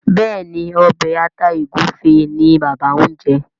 Béèni Obe atá egufe ní bàbá ñ jé.